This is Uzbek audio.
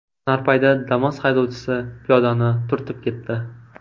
Narpayda Damas haydovchisi piyodani turtib ketdi.